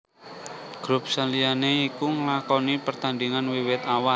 Grup saliyane iku nlakoni pertandingan wiwit awal